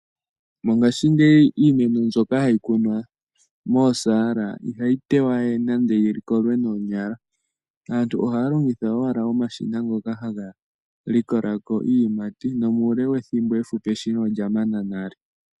Mongaashingeyi iimeno mbyoka hayi kunwa moosaala ihayi tewa we nande yi kolwe noonyala. Aantu ohaya longitha owala omashina ngoka haga likola ko iiyimati nomuule wethimbo efupi eshina olya mana nale.